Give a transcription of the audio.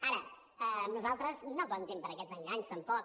ara amb nosaltres no comptin per a aquests enganys tampoc